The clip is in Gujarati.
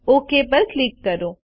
ઓક પર ક્લિક કરો